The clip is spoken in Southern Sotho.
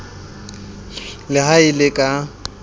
le ha e le ka